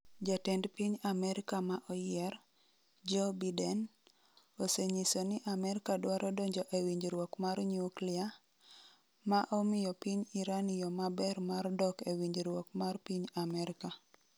Jatend piny Amerka ma oyier, Joe Biden, osenyiso ni Amerka dwaro donjo e winjruok mar nyuklia, ma omiyo piny Iran “yo maber mar dok e winjruok mar piny Amerka.”